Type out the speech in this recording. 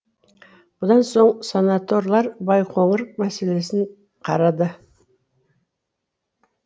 бұдан соң сенаторлар байқоңыр мәселесін қарады